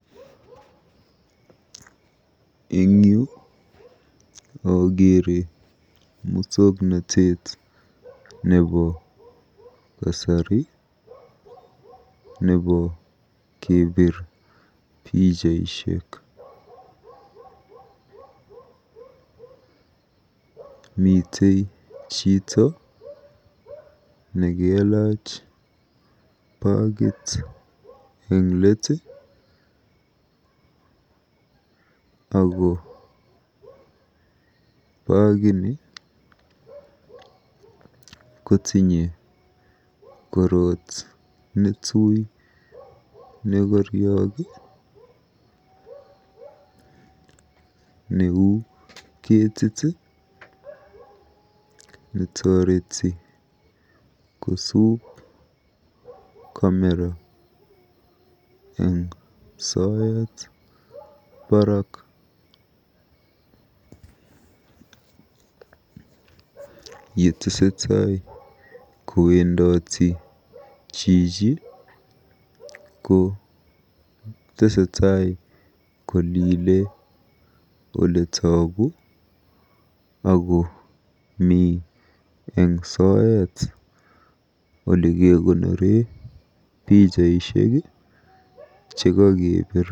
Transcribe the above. Eng yu akeere muswoknotet nebo kasari nebo kebiik pichaishek. MItei chito nekelach bakit eng leet ako pakini kotinye korot netui nekoriok neu ketit netoreti kosuub kamera eng soet barak. Yetesetai kowendoti chichi ko tesetai kolile oletogu ako mii eng soet olekekonore pichaishek chekokebir.